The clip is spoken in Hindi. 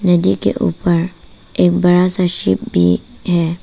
नदी के ऊपर एक बड़ा सा शिप भी है।